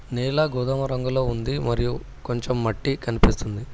నేల గోదామ రంగులో ఉంది మరియు కొంచెం మట్టి కనిపిస్తుంది.